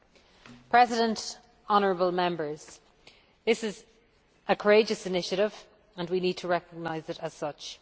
Mr President, honourable Members, this is a courageous initiative and we need to recognise it as such.